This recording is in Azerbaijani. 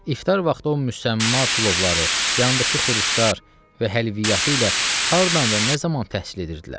İftar vaxtı o müsəmma plovları, yandakı xuruşlar və həlviyyatı ilə hardan və nə zaman təhsil edirdilər.